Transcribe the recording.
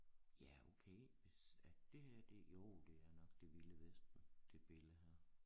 Ja okay hvis at det her jo det er nok det vilde vesten det billede her